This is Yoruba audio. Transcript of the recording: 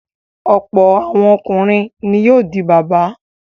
Ọ̀pọ̀ àwọn ọkùnrin ni yóò di bàbá.